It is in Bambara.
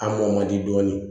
A mɔ man di dɔɔnin